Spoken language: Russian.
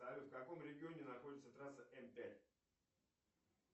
салют в каком регионе находится трасса м пять